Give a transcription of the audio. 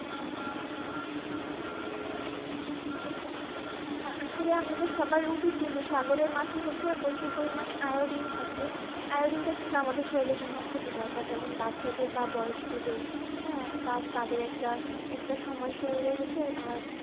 হ্যাঁ আসলে আমাদের সবারই উচিত কিন্তু সাগরের মাছে হচ্ছে প্রচুর পরিমাণে Iodine থাকে, Iodine টা কিন্তু আমাদের শরীরের জন্য খুবই দরকার যেমন বাচ্চাদের বা বয়স্কদের, হ্যা! তা~তাদের একটা, একটা সময় শরীরের হচ্ছে আর